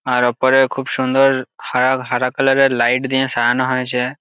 আর ওপরের খুব সুন্দর হারা হারা কালার -এর লাইট দিয়ে সাজানো হয়েছে-এ ।